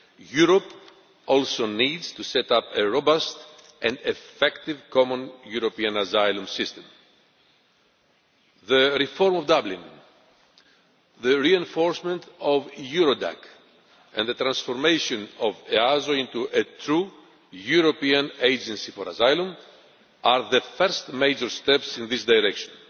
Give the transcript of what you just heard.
Europe also needs to set up a robust and effective Common European Asylum System. The reform of the Dublin Regulation, the reinforcement of Eurodac and the transformation of EASO into a true European Agency for Asylum, are the first major steps in this direction.